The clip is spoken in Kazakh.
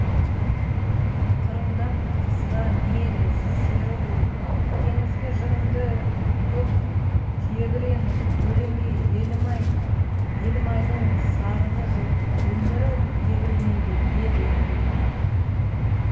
қырындап қызға мейлі сері болып теңізге жырыңды төк тебіреніп өлеңге елім ай дың сарыны жоқ өмірі егілмейді ел еміреніп